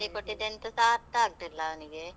ಹೇಳಿಕೊಟ್ಟಿದ್ದು ಎಂತಸಾ ಅರ್ಥ ಆಗ್ಲಿಲ್ಲ ಅವನಿಗೆ.